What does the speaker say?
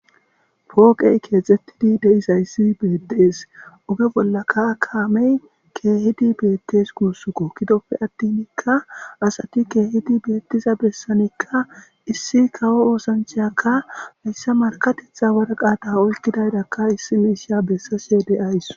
pooqey keexettidi deisayssi beettees oge bollaka kaamey keehidi beettes kuussukko kidoppe attinikka asati keehidi beettiza bessanikka issi kawo oosanchayakka hayssa markatetha waraqaata olkidaydakka issi miisha bessashe de7awusi